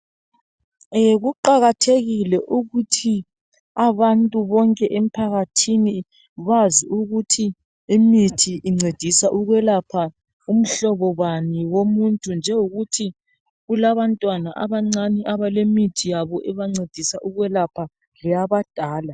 Kuqakathekile ukuthi abantu bonke emphakathini bazi ukuthi imithi incedisa ukwelapha umhlobo bani womuntu njengokuthi kulabantwana abancane abalemithi yabo ebancedisa ukwelapha leyabadala.